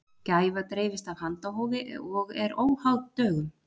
Gæfa dreifist af handahófi og er óháð dögum.